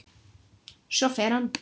Svo fer hann.